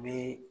Bi